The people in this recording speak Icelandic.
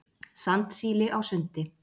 Sandsíli á sundi.